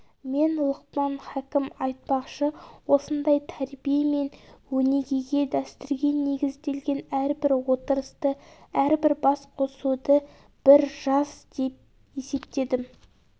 мен лұқпан хакім айтпақшы осындай тәрбие мен өнегеге дәстүрге негізделген әрбір отырысты әрбір басқосуды бір жас деп есептедім